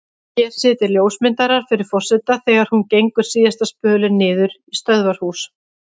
Hér sitja ljósmyndarar fyrir forseta þegar hún gengur síðasta spölinn niður í stöðvarhús.